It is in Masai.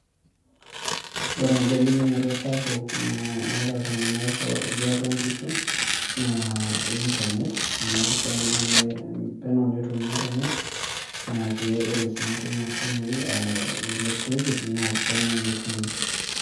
ore egolikinoto sapuk na naata iltung'anak liatua nkishu naa internet amu peno ne netum internet naa ke, ore sii enkima o simui e electricity naa peno netumi.